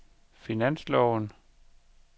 finansloven